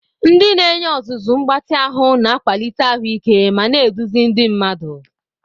Ndị na-enye ọzụzụ mgbatị ahụ na-akwalite ahụike ma na-eduzi ndị mmadu.